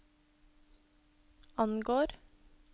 angår